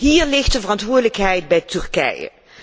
Hier ligt de verantwoordelijkheid bij Turkije.